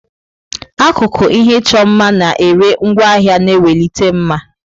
Akụkụ ihe ịchọ mma na-ere ngwaahịa na-ewelite mma.